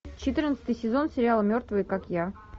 четырнадцатый сезон сериала мертвые как я